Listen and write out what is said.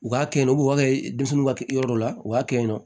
U k'a kɛ yen nɔ u b'a kɛ denmisɛnninw ka yɔrɔ la u b'a kɛ yen nɔ